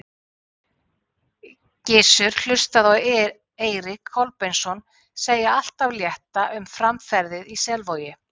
Gizur hlustaði á Eirík Kolbeinsson segja allt af létta um framferðið í Selvogi.